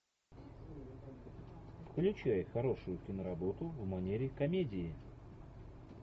включай хорошую киноработу в манере комедии